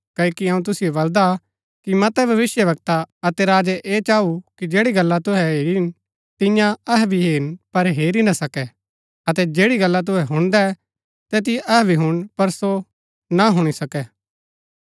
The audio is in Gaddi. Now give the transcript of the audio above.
क्ओकि अऊँ तुसिओ बलदा कि मतै भविष्‍यवक्ता अतै राजै ऐह चाँऊ कि जैड़ी गल्ला तुहै हेरी तियां अहै भी हेरन पर हेरी ना सकै अतै जैड़ी गला तुहै हुणदै तैतिओ अहै भी हुणन पर सो ना हुणी सकै